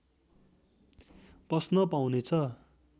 पस्न पाउनेछ